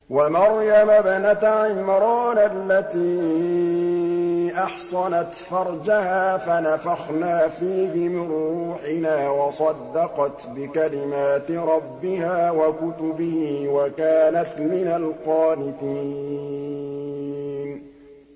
وَمَرْيَمَ ابْنَتَ عِمْرَانَ الَّتِي أَحْصَنَتْ فَرْجَهَا فَنَفَخْنَا فِيهِ مِن رُّوحِنَا وَصَدَّقَتْ بِكَلِمَاتِ رَبِّهَا وَكُتُبِهِ وَكَانَتْ مِنَ الْقَانِتِينَ